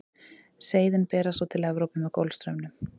seiðin berast svo til evrópu með golfstraumnum